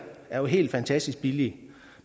er jo helt fantastisk billige